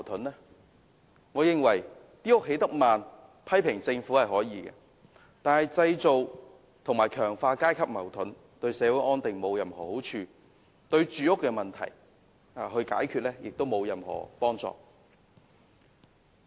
他可以批評政府興建房屋進度緩慢，但製造和強化階級矛盾，對社會安定並無任何好處，對解決住屋問題亦沒有任何幫助。